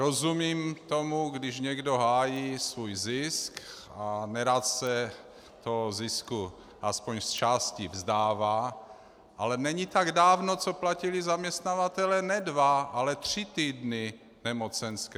Rozumím tomu, když někdo hájí svůj zisk a nerad se toho zisku aspoň z části vzdává, ale není tak dávno, co platili zaměstnavatelé ne dva, ale tři týdny nemocenské.